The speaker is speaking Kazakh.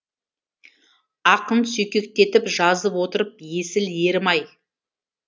ақын сүйкектетіп жазып отырып есіл ерім ай